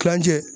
Kilancɛ